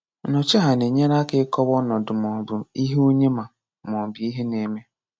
Nnọchiaha na-enyere aka ịkọwa ọnọdụ ma ọ bụ ihe onye ma ọ bụ ihe na-eme.